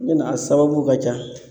N be na a sababuw ka ca